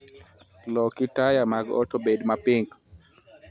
Loki taya mag ot obed ma pink